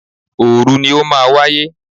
Òòru ni ó máa wáyé.